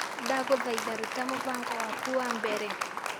Ndagũthaitha ruta mũbango wa mbere.